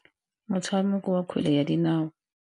Motshameko wa kgwele ya dinao.